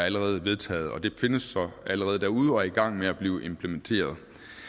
allerede vedtaget den findes allerede derude og er i gang med at blive implementeret